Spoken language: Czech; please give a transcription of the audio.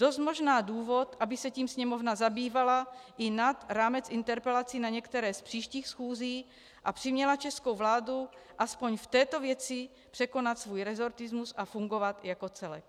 Dost možná důvod, aby se tím sněmovna zabývala i nad rámec interpelací na některé z příštích schůzí a přiměla českou vládu aspoň v této věci překonat svůj resortismus a fungovat jako celek.